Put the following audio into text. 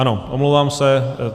Ano, omlouvám se.